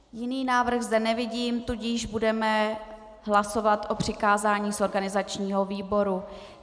Jiný návrh zde nevidím, tudíž budeme hlasovat o přikázání z organizačního výboru.